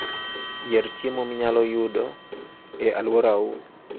Yier chiemo minyalo yud e alworau.